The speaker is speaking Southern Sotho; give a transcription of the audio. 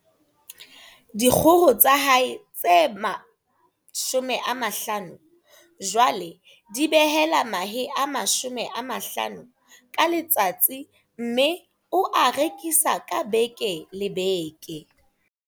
Dikgoho tsa hae tse 50 jwale di behela mahe a 50 ka letsatsi mme o a rekisa ka beke le beke.